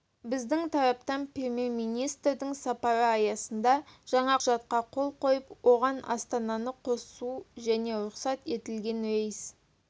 біздің тараптан премьер-министрдің сапары аясында жаңа құжатқа қол қойып оған астананы қосу және рұқсат етілген рейс